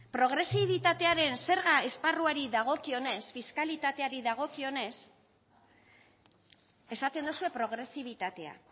progresibilitatearen zerga esparruari dagokionez fiskaletateari dagokionez esaten dozue progresibitatea